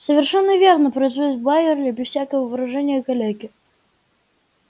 совершенно верно произнёс байерли без всякого выражения калеки